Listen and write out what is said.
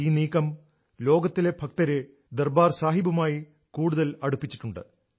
ഈ നീക്കം ലോകത്തിലെ ഭക്തരെ ദർബാർ സാഹിബുമായി കൂടുതൽ അടുപ്പിച്ചിട്ടുണ്ട്